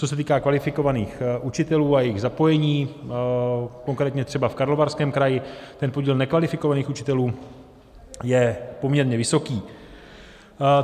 Co se týká kvalifikovaných učitelů a jejich zapojení, konkrétně třeba v Karlovarském kraji, ten podíl nekvalifikovaných učitelů je poměrně vysoký.